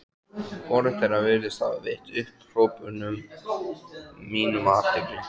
Hvorugt þeirra virðist hafa veitt upphrópunum mínum athygli.